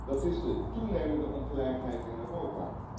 Dat is de toenemende ongelijkheid in Europa.